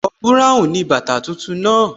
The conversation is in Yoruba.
Àwọ̀ búráùn ni bàtà tuntun náà